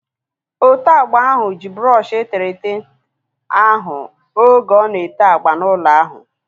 Ote agba ahu ji brọọshi eterete ahu oge ọ na-ete agba n'ụlọ ahu